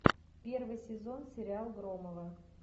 первый сезон сериал громовы